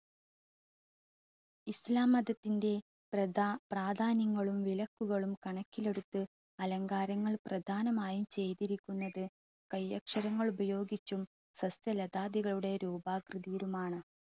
ഇസ്ലാം മതത്തിൻ്റെ പ്രധ പ്രാധാന്യങ്ങളും വിലക്കുകളും കണക്കിലെടുത്തു അലങ്കാരങ്ങൾ പ്രദാനമായും ചെയ്തിരിക്കുന്നത് കൈയക്ഷരങ്ങൾ ഉപയോഗിച്ചും വൃക്ഷ ലതാതികളുടെ രൂപാകൃതിയിലുമാണ്.